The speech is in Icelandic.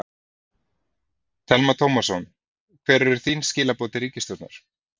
Telma Tómasson: Hver eru þín skilaboð til ríkisstjórnar?